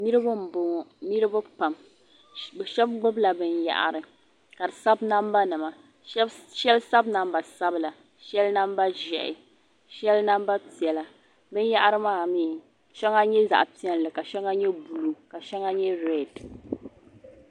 Niribi n bɔŋɔ niribi pam shabi gbubi la bin yahiri ka di sabi namba nima shabi sabi namba sabila. shalinamba ʒɛhi shɛli namba piɛla bin yahiri maa mi shaŋa nyɛ zaɣipiɛli ka shaŋa nyɛ blue ka shaŋa nyɛ read